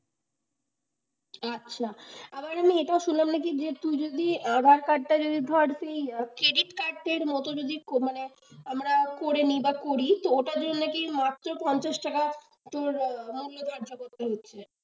আচ্ছা আবার আমি এটাও শুনলাম নাকি যে তুই যদি aadhaar card টা যদি ধর সেই credit card এর মতো যদি যে আমরা করে নিই বা করি ওটা জন্যে কি মাত্র পঞ্চাশ টাকা তোর লাগিয়ে ব্যবসা করতে হচ্ছে।